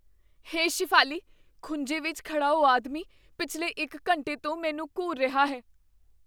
ਹੇ ਸ਼ੇਫਾਲੀ, ਖੂੰਜੇ ਵਿੱਚ ਖੜ੍ਹਾ ਉਹ ਆਦਮੀ ਪਿਛਲੇ ਇੱਕ ਘੰਟੇ ਤੋਂ ਮੈਨੂੰ ਘੂਰ ਰਿਹਾ ਹੈ।